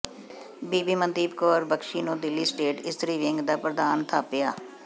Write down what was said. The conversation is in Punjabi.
ਬੀਬੀ ਮਨਦੀਪ ਕੋਰ ਬਖਸੀ ਨੂੰ ਦਿੱਲੀ ਸਟੇਟ ਇਸਤਰੀ ਵਿੰਗ ਦਾ ਪ੍ਰਧਾਨ ਥਾਪਿਆ